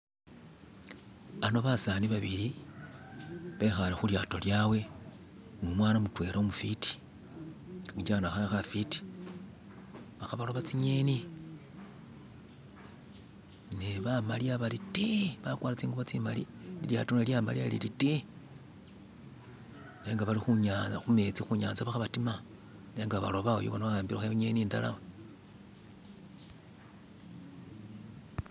bano basani babili bekhale khulyato lyawe numwana mutwela umufiti khamucha khe khafiti balikho baloba tsinyeni ne bamaliya bari tii bakwara tsingubo tsimali lilyaro nalyo lyamaliya liri tii nenga bali khunya khumetsi khunyantsa balikho batima nenga baloba uyu bona wahambilekho inyeni indala